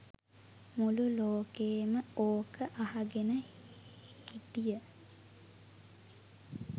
මුළු ලෝකෙම ඕක අහගෙන හිටිය